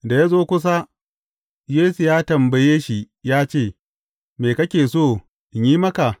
Da ya zo kusa, Yesu ya tambaye shi ya ce, Me kake so in yi maka?